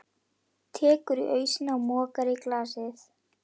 Tekur ausuna og mokar í glasið.